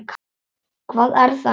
Hvað er það nú?